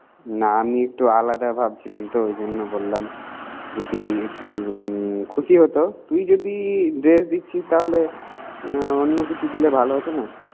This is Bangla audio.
না আমি একটু আলাদা ভাবছিলাম তো এই জন্য বললাম। যদি একটু খুশি হতো। তুই যদি dress দি্চ্ছিস তাহলে অন্য কিছু দিলে ভালো হতো না।